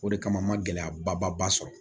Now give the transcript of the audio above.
O de kama n ma gɛlɛya ba sɔrɔ